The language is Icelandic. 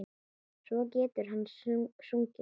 Svo getur hann sungið.